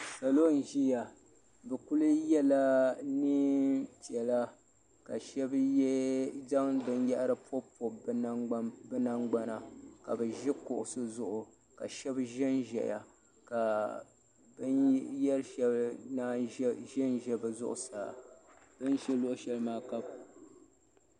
Solo n ʒeya bɛ kuli yela nɛɛn piɛla ka shɛb zaŋ binyahiri m pɔbipobi bi nangbana ka bi ʒi kuɣusi zuɣu ka shɛb ʒenʒeya ka binyari shɛli naan ʒenʒe bi zuɣu saa bin ʒi luɣu shɛli.